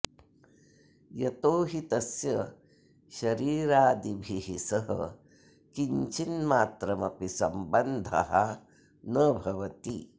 यतो हि तस्य शरीरादिभिः सह किञ्चिन्मात्रम् अपि सम्बन्धः न भवति